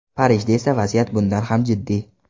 Parijda esa vaziyat bundan ham jiddiy.